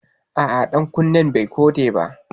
A'a ɗankunnen bai koɗe ba